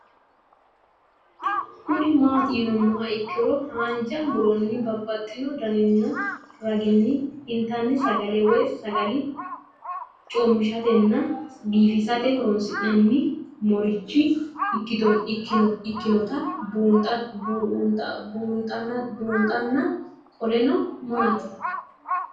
Kuni mati yinumoha ikiro hanja muroni babaxino daninina ragini intani sagale woyi sagali comishatenna bifisate horonsine'morich ikinota bunxana qoleno mamati?